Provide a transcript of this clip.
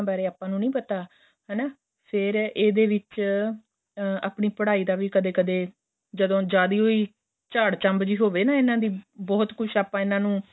ਆਪਾਂ ਨੂੰ ਨਹੀਂ ਪਤਾ ਹੈਨਾ ਫ਼ੇਰ ਇਹਦੇ ਵਿੱਚ ਆਹ ਆਪਣੀ ਪੜਾਈ ਦਾ ਵੀ ਕਦੇਂ ਕਦੇਂ ਜਦੋ ਜਿਆਦਾ ਹੀ ਝਾੜਚੱਬ ਹੋਵੇ ਇਹਨਾ ਦੀ ਬਹੁਤ ਕੁੱਛ ਇਹਨਾ ਨੂੰ